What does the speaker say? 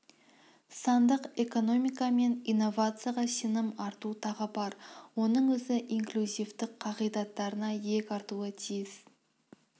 сандық экономика мен инновацияға сенім арту тағы бар оның өзі инклюзивтік қағидаттарына иек артуы тиіс